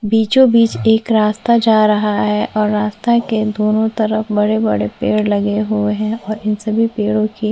बीचों-बीच एक रास्ता जा रहा है और रास्तों के दोनों तरफ बड़े-बड़े पेड़ लगे हुए हैं और इन सभी पेड़ों की--